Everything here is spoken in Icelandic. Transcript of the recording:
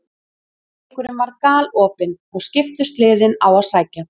Leikurinn var galopinn og skiptust liðin á að sækja.